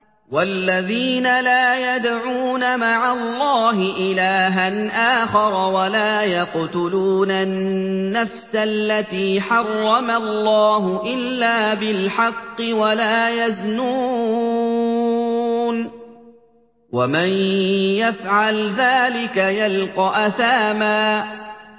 وَالَّذِينَ لَا يَدْعُونَ مَعَ اللَّهِ إِلَٰهًا آخَرَ وَلَا يَقْتُلُونَ النَّفْسَ الَّتِي حَرَّمَ اللَّهُ إِلَّا بِالْحَقِّ وَلَا يَزْنُونَ ۚ وَمَن يَفْعَلْ ذَٰلِكَ يَلْقَ أَثَامًا